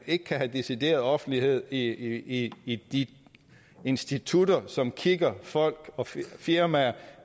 ikke have decideret offentlighed i i de institutter som kigger folk og firmaer